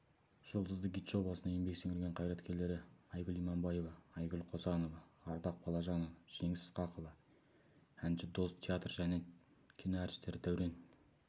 жұлдызды гид жобасына еңбек сіңірген қайраткерлері айгүл иманбаева айгүл қосанова ардақ балажанова жеңіс ысқақова әнші дос театр және кино әртістері дәурен